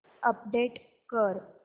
update कर